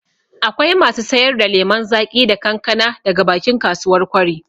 Akwai masu sayar da lemon zaƙi da kankana daga bakin kasuwar kwari